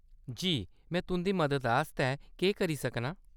जी। में तुंʼदी मदद आस्तै केह्‌‌ करी सकनां ?